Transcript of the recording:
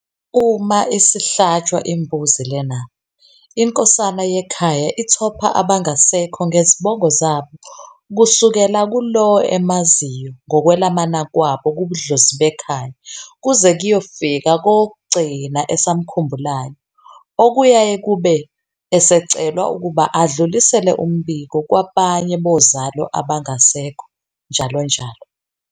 Uma isihlatshwa imbuzi lena, inkosana yekhaya ithopha abangasekho ngezibongo zabo kusukela kulowo emaziyo ngokwelamana kwabo kubudlozi bekhaya kuze kuyofika kowokugcina esamkhumbulayo okuyaye kube esecelwa ukuba adlulisele umbiko kwabanye bozalo abangasekho njalo njalo